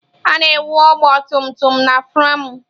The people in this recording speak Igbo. A na-ewu ọgba tum tum na framụ.